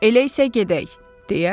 Elə isə gedək deyə Kraliçea əmr etdi.